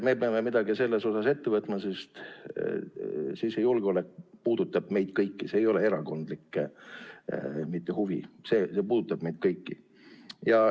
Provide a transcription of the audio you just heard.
Me peame midagi ette võtma, sest sisejulgeolek puudutab meid kõiki, see ei ole erakondlik huvi, see puudutab meid kõiki.